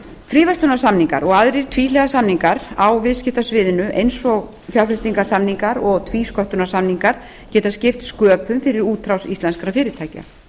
fríverslunarsamningar og aðrir tvíhliða samningar á viðskiptasviðinu eins og fjárfestingasamningar og tvísköttunarsamningar geta skipt sköpum fyrir útrás íslenskra fyrirtækja